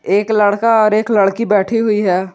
एक लड़का और एक लड़की बैठी हुई है।